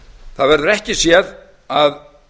það verður ekki séð að